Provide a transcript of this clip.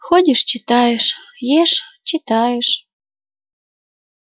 ходишь читаешь ешь читаешь